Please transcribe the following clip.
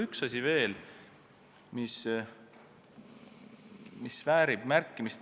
Üks asi väärib veel märkimist.